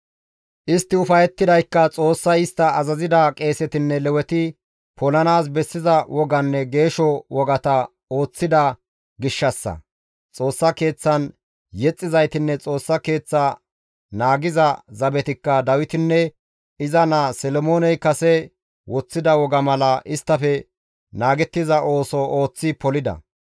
Istti ufayettidaykka Xoossay istta azazida qeesetinne Leweti polanaas bessiza woganne geesho wogata ooththida gishshassa; Xoossa Keeththan yexxizaytinne Xoossa Keeththa naagiza zabetikka Dawitinne iza naa Solomooney kase woththida woga mala isttafe naagettiza ooso ooththi polida.